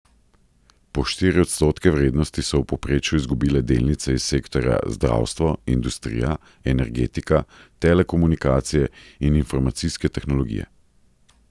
Po štiri odstotke vrednosti so v povprečju izgubile delnice iz sektorja zdravstvo, industrija, energetika, telekomunikacije in informacijske tehnologije.